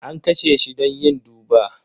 An kashe shi don yin duba.